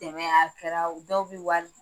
a kɛra dɔw bɛ wari